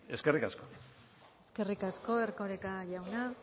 eskerrik asko eskerrik asko erkoreka jauna